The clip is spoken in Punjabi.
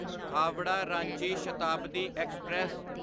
ਹਾਵਰਾ ਰਾਂਚੀ ਸ਼ਤਾਬਦੀ ਐਕਸਪ੍ਰੈਸ